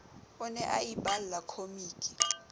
o ne a iballa khomiki